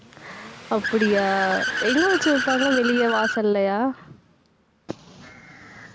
அப்படியா எங்க வச்சு வைப்பாங்க வெளிய வாசல்லயா